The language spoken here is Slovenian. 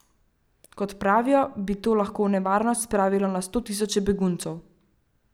Kot pravijo, bi to lahko v nevarnost spravilo na sto tisoče beguncev.